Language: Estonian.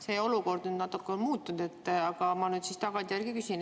See olukord nüüd natuke on muutunud, aga ma tagantjärele küsin.